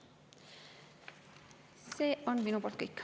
See on minu poolt kõik.